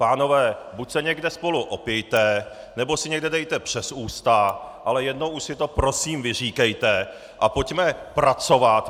Pánové, buď se někde spolu opijte, nebo si někde dejte přes ústa, ale jednou už si to prosím vyříkejte a pojďme pracovat!